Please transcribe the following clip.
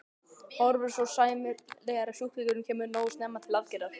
Horfur eru sæmilegar ef sjúklingurinn kemur nógu snemma til aðgerðar.